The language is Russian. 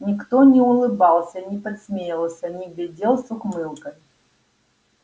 никто не улыбался не подсмеивался не глядел с ухмылкой